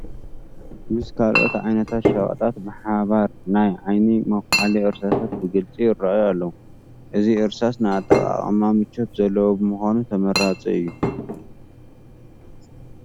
ምስ ካልኦት ዓይነት ሸቐጣት ብሓባር ናይ ዓይኒ መኹሓሊ እርሳሳት ብግፂ ይርአዩ ኣለዉ፡፡ እዚ እርሳስ ንኣጠቓቕማ ምቾት ዘለዎ ብምዃኑ ተመራፂ እዩ፡፡